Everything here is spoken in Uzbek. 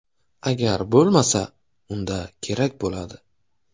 Agar bo‘lmasa unda kerak bo‘ladi.